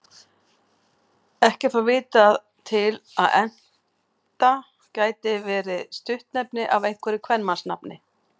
Ekki er þó vitað til að Enta geti verið stuttnefni af einhverju kvenmannsnafni.